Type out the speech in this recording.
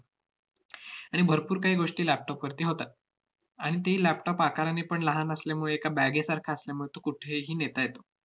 आणि भरपूर काही गोष्टी laptop वरती होतात. आणि ते laptop आकाराने पण लहान असल्यामुळे, एका bag सारखा असल्यामुळं तो कुठेही नेता येतो.